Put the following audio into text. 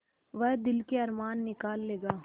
वह दिल के अरमान निकाल लेगा